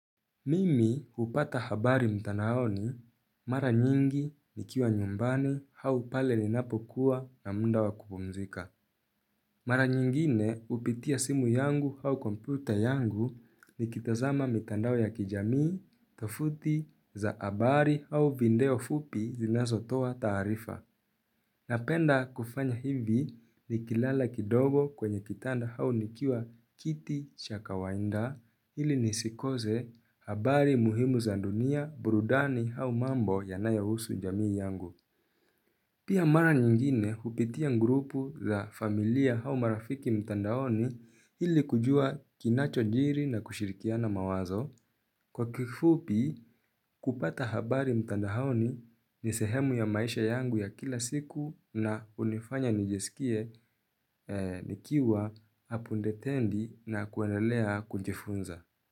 Mimi upata habari mtanao ni mara nyingi nikiwa nyumbani hau pale ninapo kuwa na munda wa kupumzika. Mara nyingine upitia simu yangu hau komputer yangu ni kitazama mitandao ya kijamii, tofuti za habari au vindeo fupi zinazo toa taarifa. Napenda kufanya hivi ni kilala kidogo kwenye kitanda hau nikiwa kiti chaka wainda ili nisikoze habari muhimu za dunia burudani hau mambo yanayohusu jamii yangu. Pia mara nyingine upitia ngurupu za familia hau marafiki mtandaoni hili kujua kinacho jiri na kushirikia na mawazo. Kwa kifupi kupata habari mtandaoni nisehemu ya maisha yangu ya kila siku na unifanya nijesikie nikiwa hapundetendi na kuwenelea kunjefunza.